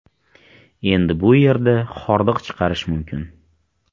Endi bu yerda hordiq chiqarish mumkin.